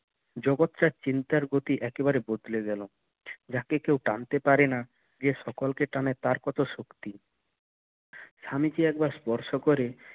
জগৎ টা চিন্তার গতি একেবারে বদলে গেলো যাকে কেউ ডাকতে পারে না যে সকল কে টানে তার কত শক্তি স্বামীজি একবার স্পর্শ করে